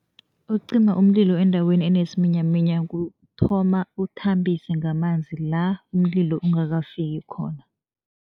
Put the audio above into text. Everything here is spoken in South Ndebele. Ukucima umlilo endaweni enesiminyaminya kuthoma uthambise ngamanzi la umlilo ungakafiki khona.